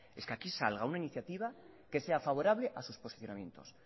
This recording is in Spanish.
es que aquí salga una iniciativa que sea favorable a sus posicionamientos